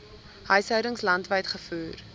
huishoudings landwyd gevoer